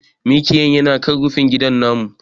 Miƙiyan yana kan rufingida namu.